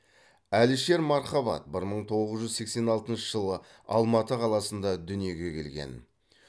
әлішер мархабат бір мың тоғыз жүз сексен алтыншы жылы алматы қаласында дүниеге келген